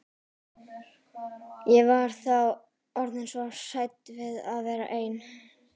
Ég var þá orðin svo hrædd við að vera ein.